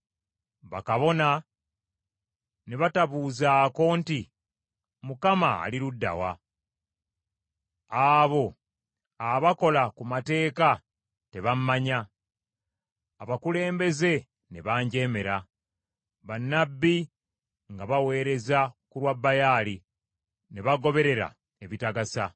Bakabona ne batabuuzaako nti, “ Mukama ali ludda wa?” Abo abakola ku mateeka tebammanya. Abakulembeze ne banjeemera. Bannabbi nga baweereza ku lwa Baali, ne bagoberera ebitagasa.